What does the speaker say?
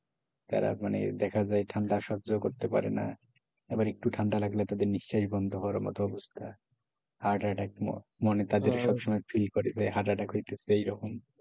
তারা মানে দেখা যায় ঠান্ডা সহ্য করতে পারে না এবার একটু ঠান্ডা লাগলে তাদের নিশ্বাস বন্ধ হওয়ার মতো অবস্থা, heart attack মনে তাদের সব সময় feel করে heart attack হইতেসে। এই রকম্